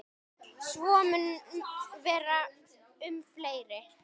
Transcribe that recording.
Svo mun vera um fleiri.